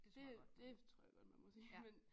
Det det tror jeg godt man må sige men